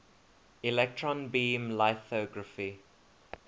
electron beam lithography